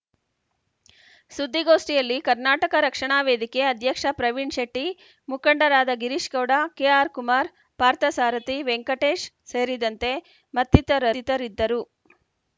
ಸುದ್ದಿಗೋಷ್ಠಿಯಲ್ಲಿ ಕರ್ನಾಟಕ ರಕ್ಷಣಾ ವೇದಿಕೆ ಅಧ್ಯಕ್ಷ ಪ್ರವೀಣ್‌ ಶೆಟ್ಟಿ ಮುಖಂಡರಾದ ಗಿರೀಶ್‌ಗೌಡ ಕೆಆರ್‌ಕುಮಾರ್‌ ಪಾರ್ಥಸಾರಧಿ ವೆಂಕಟೇಶ್‌ ಸೇರಿದಂತೆ ಮತ್ತಿತ ಥಿತರಿದ್ದರು